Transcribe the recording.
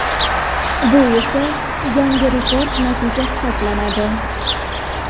Bu esa yangi rekord natija hisoblanadi .